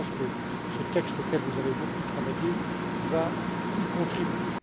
Je pense que ce texte, auquel vous avez beaucoup travaillé, va y contribuer.